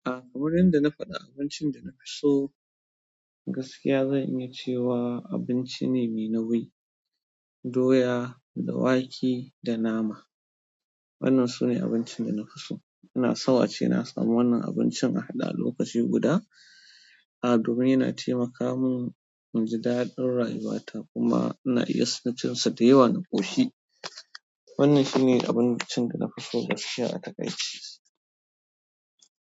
A, wurin da na faɗi abincin da na fi so gaskiya zan iya ce wa abinci ne mai nauyi, doya da wake da nama. Wannan su ne abincin da nafi so ina so ace na samu wannan abincin a haɗa lokaci guda. A domin yana taimaka min inji daɗin rayuwa ta kuma ina iya son cin sa da yawa na ƙoshi wannan shine abincin dana fiso gaskiya a taƙaice.